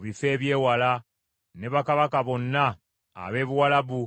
ne bakabaka bonna ab’e Buwalabu, ne bakabaka b’abannamawanga ababeera mu ddungu;